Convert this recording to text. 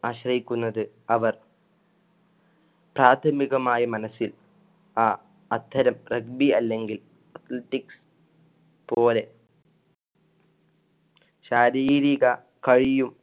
ആശ്രയിക്കുന്നത് അവർ പ്രാഥമികമായി മനസ്സിൽ ആ അത്തരം Regbi അല്ലെങ്കിൽ പോലെ ശാരീരിക കയ്യും